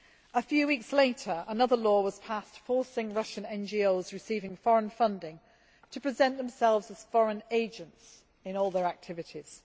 A few weeks later another law was passed forcing Russian NGOs receiving foreign funding to present themselves as foreign agents' in all their activities.